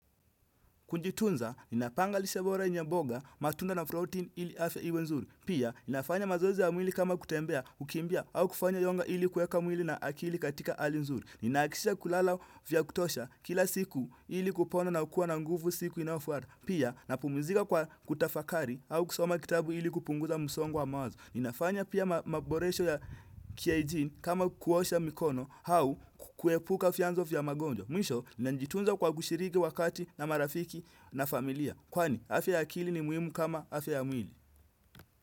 Kujitunza, inapangalishe bora yenye mboga, matunda na protein ili afya iwe nzuri. Pia, inafanya mazoezi ya mwili kama kutembea, kukimbia, au kufanya yoga ili kuweka mwili na akili katika hali nzuri. Ninahakikisha kulala vya kutosha, kila siku ili kupona nakuwa nguvu siku inayofuata. Pia, napumzika kwa kutafakari au kusoma kitabu ili kupunguza msongo wa mawazo. Ninafanya pia maboresho ya kihygiene kama kuosha mikono au kuepuka vyanzo vya magonjwa. Mwisho, na jitunza kwa kushiriki wakati na marafiki na familia. Kwani, afya ya akili ni muhimu kama afya ya mwili.